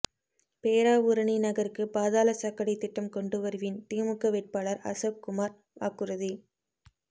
பேராவூரணி நகருக்கு பாதாள சாக்கடை திட்டம் கொண்டு வருவேன் திமுக வேட்பாளர் அசோக்குமார் வாக்குறுதி